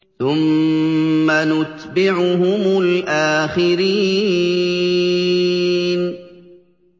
ثُمَّ نُتْبِعُهُمُ الْآخِرِينَ